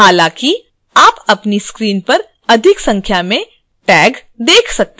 हालांकि आप अपनी screen पर अधिक संख्या में tags देख सकते हैं